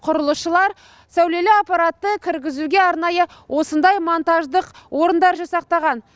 құрылысшылар сәулелі аппаратты кіргізуге арнайы осындай монтаждық орындар жасақтаған